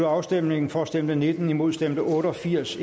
afstemningen for stemte nitten imod stemte otte og firs